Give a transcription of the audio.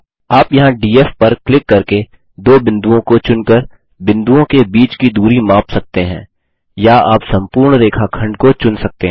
आप यहाँ डीएफ पर क्लिक करके दो बिंदुओं को चुनकर बिंदुओं के बीच की दूरी माप सकते हैं या आप संपूर्ण रेखाखंड को चुन सकते हैं